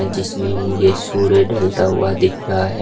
जिसमें मुझे सूर्य ढलता हुआ दिख रहा है।